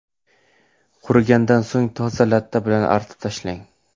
Qurigandan so‘ng toza latta bilan artib tashlang.